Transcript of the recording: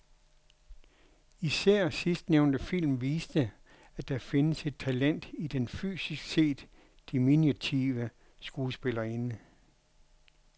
Især sidstnævnte film viste, at der findes et talent i den fysisk set diminutive skuespillerinde.